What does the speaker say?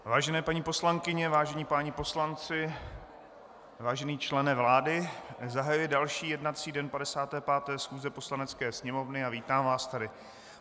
Vážené paní poslankyně, vážení páni poslanci, vážený člene vlády, zahajuji další jednací den 55. schůze Poslanecké sněmovny a vítám vás tady.